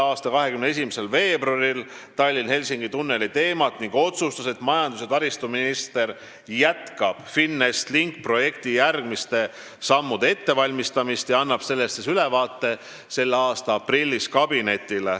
a 21. veebruaril Tallinna–Helsingi tunneli teemat ning otsustas, et majandus- ja taristuminister jätkab FinEst Linki projekti järgmiste sammude ettevalmistamist ja annab sellest kabinetile ülevaate selle aasta aprillis.